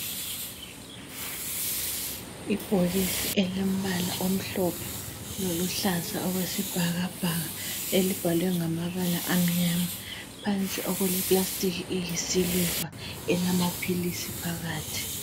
Ibhokisi elilombala omhlophe loluhlaza okwesibhakabhaka elibhalwe ngamabala amnyama phandle okuke plastic eyisiliva elamaphilisi phakathi.